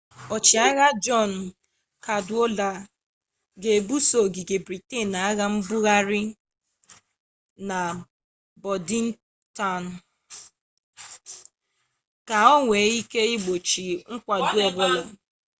ọchịagha jọn kadwọlda ga ebuso ogige briten agha mbugharị na bọdintaụn ka onwee ike igbochi mkwado ọbụla